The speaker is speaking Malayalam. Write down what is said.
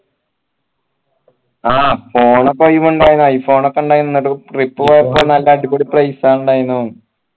ആ phone i phone ഒക്കെ ഇണ്ടായിനല്ലോ trip പോയപ്പോ നല്ല അടിപൊളി place ആ ഇണ്ടായിനല്ലോ